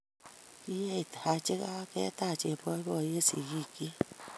Kiyeit Haji kaa ketach eng boiboiye sikiik chii